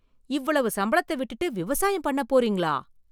இவ்வளவு சம்பளத்தை விட்டுட்டு விவசாயம் பண்ண போறீங்களா!